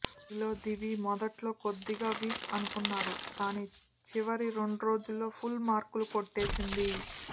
వీరిలో దివి మొదట్లో కొద్దిగా వీక్ అనుకున్నారు కానీ చివరి రెండురోజుల్లో ఫుల్ మార్కులు కొట్టేసింది